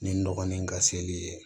Ni n dɔgɔnin in ka seli ye